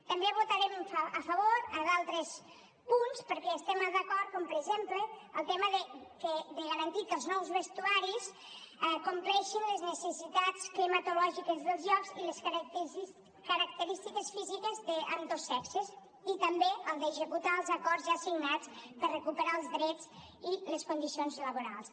també votarem a favor d’altres punts perquè hi estem d’acord com per exemple el tema de garantir que els nous vestuaris compleixin les necessitats climatològiques dels llocs i les característiques físiques d’ambdós sexes i també el d’executar els acords ja signats per recuperar els drets i les condicions laborals